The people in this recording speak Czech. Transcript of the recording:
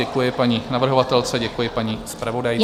Děkuji paní navrhovatelce, děkuji paní zpravodajce.